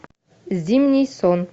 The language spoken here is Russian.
зимний сон